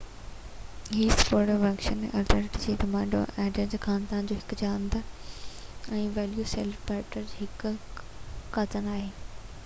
Hesperonychus elizabethae Dromaeosauridae خاندان جو هڪ جاندار ۽ ويلوسيريپٽر جو هڪ ڪزن آهي